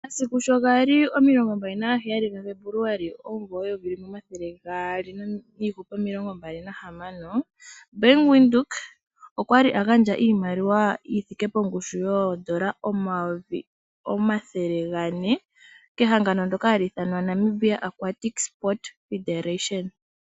Omasiku sho gali omilongombali nagaheyali ga Febuluali omumvo eyovi limwe omathele gaali nomilongombali nahamano, Bank Windhoek okwali agandja iimaliwa yithike pongushu yoondola omayovi omathele gane kehangano ndoka hali ithanwa Namibia Aquatic Sport Federation